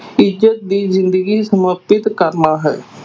ਇੱਜਤ ਦੀ ਜ਼ਿੰਦਗੀ ਕਰਨਾ ਹੈ।